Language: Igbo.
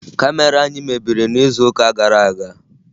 Kamera anyị mebiri n'izuụka gara aga